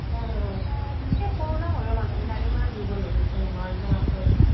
এই corona হোৱাৰ পাছত মানুহবোৰ ইমান দূৰ্বল হৈ গৈছে নহয় একদম আচৰিত